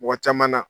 Mɔgɔ caman na